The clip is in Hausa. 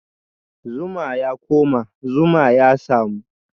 Zuma ya koma, zuma ya samu